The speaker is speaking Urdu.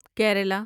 کیرالہ